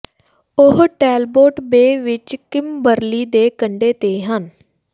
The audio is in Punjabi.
ਉਹ ਟੈੱਲਬੋਟ ਬੇ ਵਿਚ ਕਿਮਬਰਲੀ ਦੇ ਕੰਢੇ ਤੇ ਹਨ